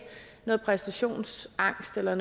noget præstationsangst eller i